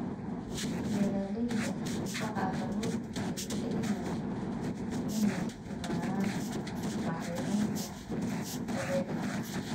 Beeralayda waxaa lagu dhiirigelinayaa inay isticmaalaan bacriminta dabiiciga ah.